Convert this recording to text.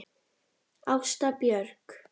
Ásta Björk.